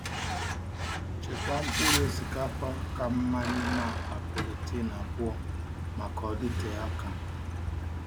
Chekwaa mkpụrụ osikapa ka mma n’ime akpa polythene abụọ maka ka ọ dịte aka.